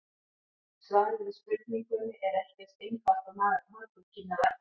Svarið við spurningunni er ekki eins einfalt og margur kynni að ætla.